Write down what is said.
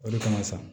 O de kama sa